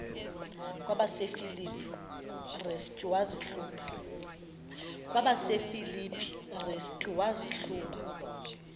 kwabasefilipi restu wazihluba